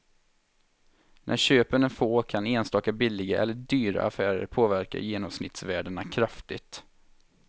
När köpen är få kan enstaka billiga eller dyra affärer påverka genomsnittsvärdena kraftigt.